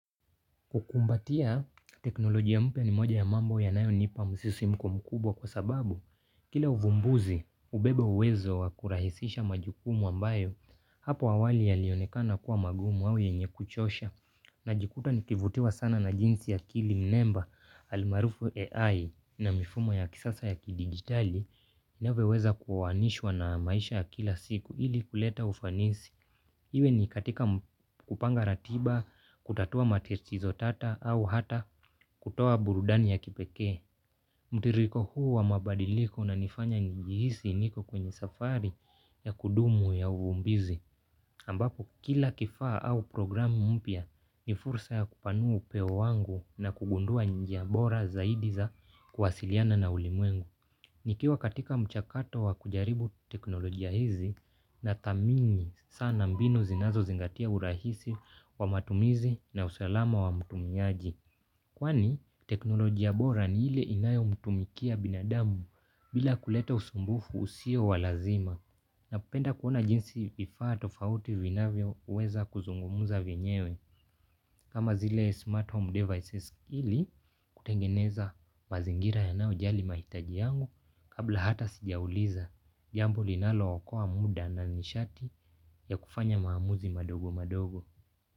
Kukumbatia teknolojia mpya ni moja ya mambo yanayonipa msisimko mkubwa kwa sababu kila uvumbuzi hubeba uwezo wa kurahisisha majukumu ambayo hapo awali yalionekana kuwa magumu au yenye kuchosha. Najikuta nikivutiwa sana na jinsi akili mnemba almaarufu AI na mifumo ya kisasa ya kidigitali inavyoweza kuanishwa na maisha ya kila siku ili kuleta ufanisi iwe ni katika kupanga ratiba, kutatua matatizo tata au hata kutoa burudani ya kipekee. Mtiririko huu wa mabadiliko unanifanya njihisi niko kwenye safari ya kudumu ya uvumbuzi. Ambapo kila kifaa au programu mpya ni fursa ya kupanua upeo wangu na kugundua njia bora zaidi za kuwasiliana na ulimwengu. Nikiwa katika mchakato wa kujaribu teknolojia hizi nathamini sana mbinu zinazozingatia urahisi wa matumizi na usalama wa mtumiaji. Kwani teknolojia bora ni ile inayomtumikia binadamu bila kuleta usumbufu usio wa lazima. Napenda kuona jinsi vifaa tofauti vinavyoweza kuzungumza vyenyewe kama zile smart home devices ili kutengeneza mazingira yanaojali mahitaji yangu kabla hata sijauliza jambo linalookoa muda na nishati ya kufanya maamuzi madogo madogo.